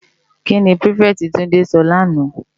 Ki ni pirifèti Tunde sò làná?